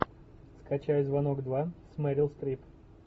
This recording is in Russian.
скачай звонок два с мерил стрип